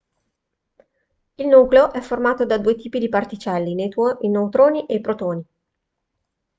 il nucleo è formato da due tipi di particelle i neutroni e i protoni